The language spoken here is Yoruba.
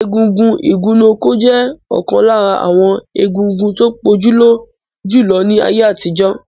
Egúngún igunnuko je okan lara awon egúngún to pojulo julo ni aye atijo.